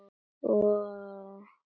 Við gleymum því alltaf